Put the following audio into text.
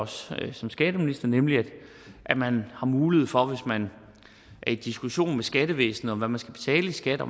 selv som skatteminister nemlig at man har mulighed for hvis man er i diskussion med skattevæsenet om hvad man skal betale i skat og